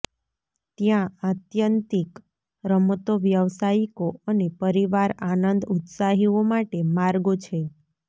ત્યાં આત્યંતિક રમતો વ્યાવસાયિકો અને પરિવાર આનંદ ઉત્સાહીઓ માટે માર્ગો છે